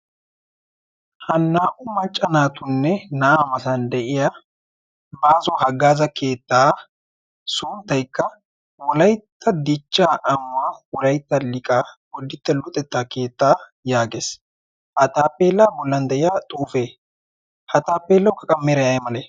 ha naa"u maccanaatunne naa'aa masan de'iya baazo haggaaza keettaa sunttaikka wolaitta dichcha amuwa ulaitta liqa golditta luxettaa keettaa' yaagees. ha taapeelaa bollan de'iya xuufe ha taapeellawukka qa meeray ay male?